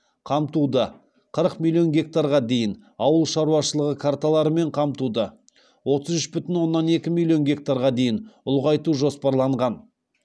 қамтуды қырық миллион гектарға дейін ауыл шаруашылығы карталарымен қамтуды отыз үш бүтін оннан екі миллион гектарға дейін ұлғайту жоспарланған